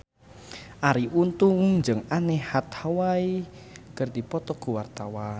Arie Untung jeung Anne Hathaway keur dipoto ku wartawan